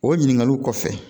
O ɲininkaliw kɔfɛ